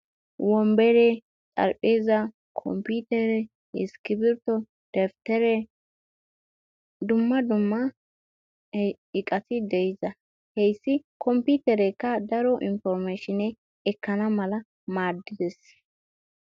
Wombere, xerpheeza, kompitere, iskrbtto, dabittere dumma dumma iqqati deidda. He hayssi kompterekka daro inpormashinne ekkana malla maades.